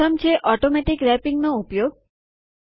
પ્રથમ છે ઓટોમેટીક રેપીંગનો ઉપયોગ